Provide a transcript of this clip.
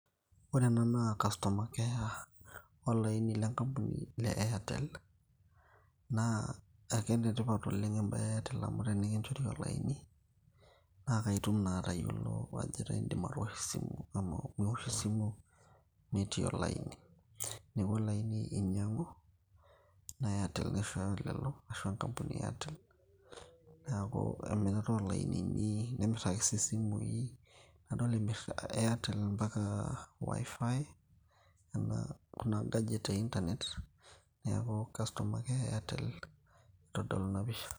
ore ena naa customer care enkampuni olaini lenkampuni le airtel naa akenetipat oleng embaye e airtel amu enikinchori olaini naa kaitum naa atayiolo ajo etaa indim atoosho esimu amu miwosh esimu metii olaini neeku olaini inyiang'u naa airtel naishooyo lelo aisho enkampuni e airtel neeku emirata olainini nemirr ake sii isimui nadol emirr airtel mpaka wifi kuna gadget e internet neeku customer care e airtel otodolu ina pisha.